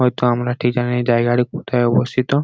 হয়তো আমরা ঠিক জানি জায়গাটি কোথায় অবস্থিত ।